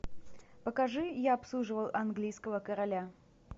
покажи я обслуживал английского короля